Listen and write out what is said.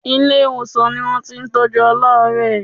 Ilé-ìwòsàn ni wọ́n ti ń tọjú aláàárẹ̀.